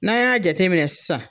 N'an y'a jateminɛ sisan